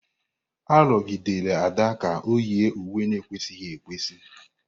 Arụgidela Ada ka ọ yie uwe na-ekwesịghị ekwesị!